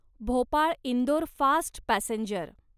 Bhopal Indore fast passenger